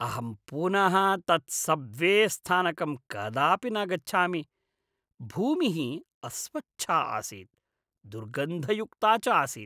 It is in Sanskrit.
अहं पुनः तत् सब्वे स्थानकं कदापि न गच्छामि। भूमिः अस्वच्छा आसीत्, दुर्गन्धयुक्ता च आसीत्।